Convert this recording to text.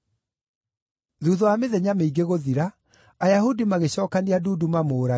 Thuutha wa mĩthenya mĩingĩ gũthira, Ayahudi magĩcookania ndundu mamũũrage,